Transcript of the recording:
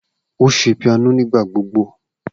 O ṣe piano nigbagbogbo.